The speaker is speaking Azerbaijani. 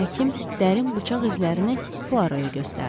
Həkim dərin bıçaq izlərini Puaro-ya göstərdi.